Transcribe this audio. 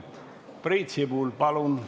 Priit Sibul, palun!